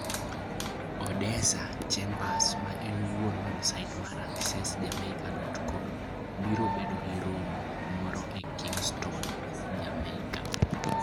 Odessa Chambers, ma en wuon websait mar accessjamaica.com, biro bedo gi romo moro e Kingston, Jamaica.